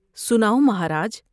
سناؤ مہاراج ۔